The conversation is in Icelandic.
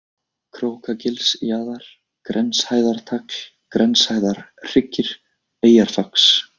Krókagilsjaðar, Grenshæðartagl, Grenshæðarhryggir, Eyjarfax